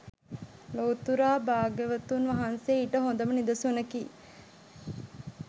ලොව්තුරා භාග්‍යවතුන් වහන්සේ ඊට හොඳම නිදසුනකි.